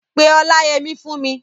Pe Ọláyẹmí fún mi!